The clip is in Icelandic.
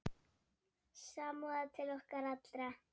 Samúð til okkar allra.